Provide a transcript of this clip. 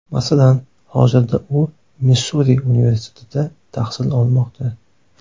Masalan, hozirda u Missuri universitetida tahsil olmoqda.